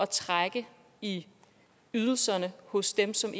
trække i ydelserne hos dem som